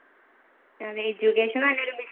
അതെ education